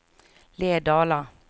Lerdala